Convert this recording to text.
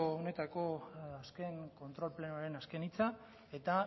honetako azken kontrol plenoaren azken hitza eta